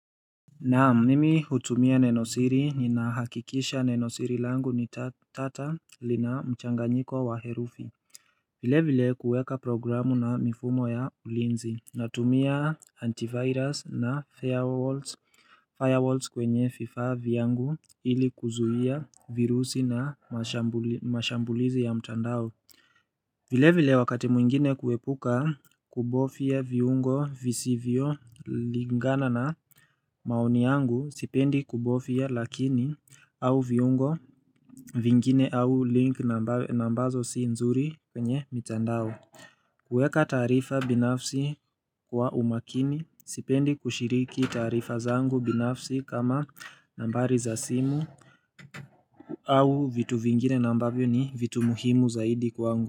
Na mimi hutumia nenosiri ninahakikisha nenosiri langu ni tata lina mchanganyiko wa herufi vile vile kuweka programu na mifumo ya ulinzi Natumia antivirus na firewalls kwenye vifaa vyangu ili kuzuia virusi na mashambulizi ya mtandao vile vile wakati mwingine kuepuka kubofya viungo visivyo lingana na maoni yangu sipendi kubofya lakini au viungo vingine au link na ambazo si nzuri kwenye mitandao kuweka taarifa binafsi kwa umakini sipendi kushiriki taarifa zangu binafsi kama nambari za simu au vitu vingine na ambavyo ni vitu muhimu zaidi kwangu.